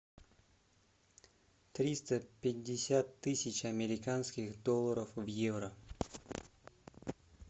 триста пятьдесят тысяч американских долларов в евро